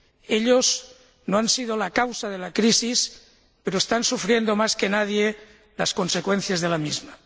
Ellos no han sido la causa de la crisis, pero están sufriendo, más que nadie, las consecuencias de la misma.